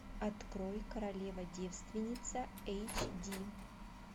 открой королева девственница эйч ди